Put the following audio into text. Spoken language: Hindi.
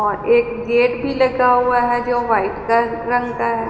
और एक गेट भी लगा हुआ है जो व्हाइट का रंग का है।